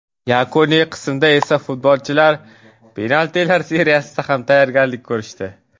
Yakuniy qismda esa, futbolchilar penaltilar seriyasiga ham tayyorgarlik ko‘rishdi.